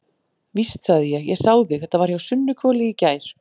Víst, sagði ég, ég sá þig, þetta var hjá Sunnuhvoli í gær.